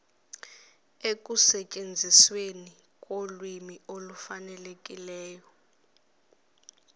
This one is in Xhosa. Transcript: ekusetyenzisweni kolwimi olufanelekileyo